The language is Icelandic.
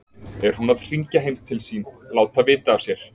Er hún að hringja heim til sín, láta vita af sér?